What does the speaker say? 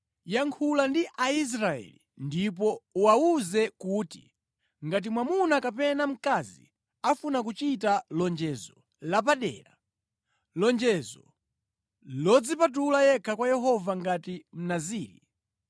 “Yankhula ndi Aisraeli ndipo uwawuze kuti, ‘Ngati mwamuna kapena mkazi afuna kuchita lonjezo lapadera, lonjezo lodzipatula yekha kwa Yehova ngati Mnaziri,